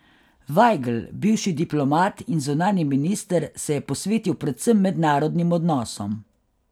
Vajgl, bivši diplomat in zunanji minister, se je posvetil predvsem mednarodnim odnosom.